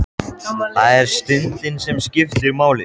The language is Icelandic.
Það er stundin sem skiptir máli.